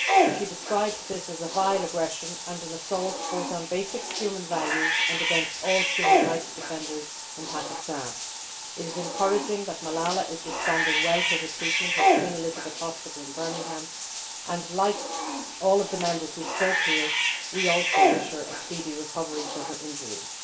She described this as a vile aggression and an assault both on basic human values and against all human rights defenders in Pakistan. It is encouraging that Malala is responding well to her treatment at Queen Elizabeth Hospital in Birmingham and, like all of the Members who have spoken here, we too wish her a speedy recovery from her injuries.